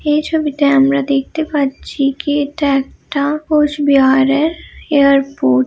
এই ছবিটা আমরা দেখতে পাচ্ছি কি এটা একটা কোচবিহারের এয়ারপোর্ট ।